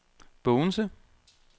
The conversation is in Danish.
Bogense